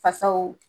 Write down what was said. Fasaw